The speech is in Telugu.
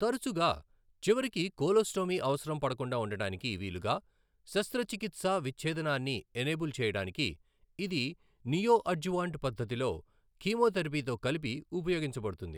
తరచుగా, చివరికి కోలోస్టోమీ అవసరం పడకుండా ఉండడానికి వీలుగా శస్త్రచికిత్సా విచ్ఛేదనాన్ని ఎనేబుల్ చేయడానికి ఇది నియోఅడ్జువాంట్ పద్ధతిలో కీమోథెరపీతో కలిపి ఉపయోగించబడుతుంది.